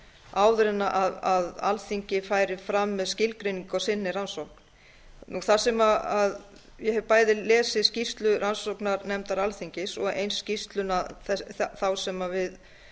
áður en alþingi færi fram með skilgreiningu á sinni rannsókn þar sem ég hef bæði lesið skýrslu rannsóknarnefndar alþingis og eins skýrsluna þá sem við